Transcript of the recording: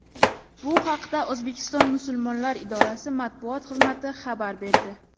Bu haqda O‘zbekiston musulmonlar idorasi matbuot xizmati xabar berdi .